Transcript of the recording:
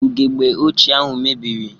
Ugegbe ochie ahụ mebiri.